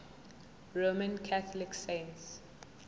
roman catholic saints